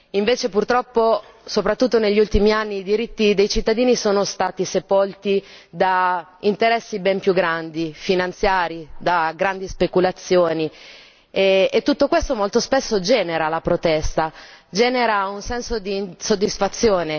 Invece, purtroppo, soprattutto negli ultimi anni, i diritti dei cittadini sono stati sepolti da interessi ben più grandi, da interessi finanziari, da grandi speculazioni, e tutto questo molto spesso genera la protesta, genera un senso d'insoddisfazione.